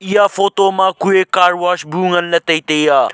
iya photo ma kue car wash bu nganley taitai ya.